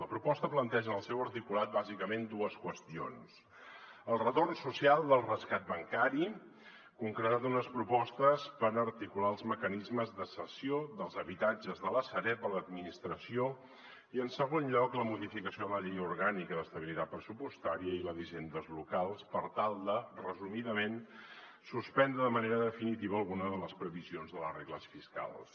la proposta planteja en el seu articulat bàsicament dues qüestions el retorn social del rescat bancari concretat en unes propostes per articular els mecanismes de cessió dels habitatges de la sareb a l’administració i en segon lloc la modificació de la llei orgànica d’estabilitat pressupostària i la d’hisendes locals per tal de resumidament suspendre de manera definitiva alguna de les previsions de les regles fiscals